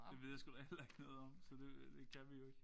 Det ved jeg sgu da heller ikke noget om så det det kan vi jo ikke